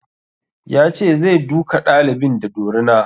Ya ce zai duka ɗalibin da dorina